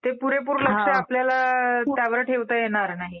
ते पुरेपूर लक्ष आपल्याला त्यावर ठेवता येणार नाही.